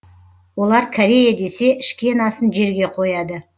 олар корея десе ішкен асын жерге қояды